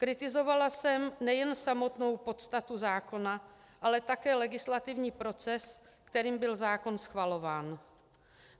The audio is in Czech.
Kritizovala jsem nejen samotnou podstatu zákona, ale také legislativní proces, kterým byl zákon schvalován.